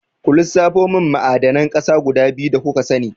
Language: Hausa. Ku lissafo mun ma'adanan ƙasa guda biyu da kuka sani?